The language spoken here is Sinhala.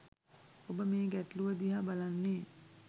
ඔබ මේ ගැටලුව දිහා බලන්නේ